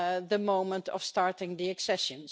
the moment of starting the accession.